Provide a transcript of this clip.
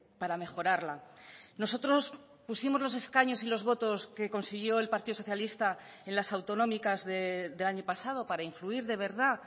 para mejorarla nosotros pusimos los escaños y los votos que consiguió el partido socialista en las autonómicas del año pasado para influir de verdad